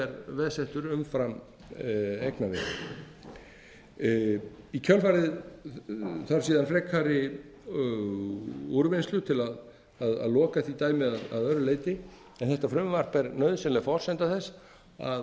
veðsettur umfram eignaveðið í kjölfarið þarf síðan frekari úrvinnslu til að loka því dæmi að öðru leyti en þetta frumvarp er nauðsynleg forsenda þess að